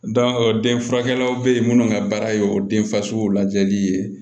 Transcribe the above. denfurakɛlaw be yen minnu ka baara ye o den fasugu lajɛli ye